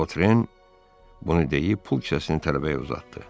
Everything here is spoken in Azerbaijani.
Votren bunu deyib pul kisəsini tələbəyə uzatdı.